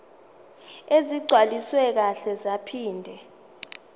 ezigcwaliswe kahle zaphinde